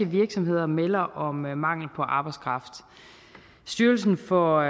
virksomheder melder om mangel på arbejdskraft styrelsen for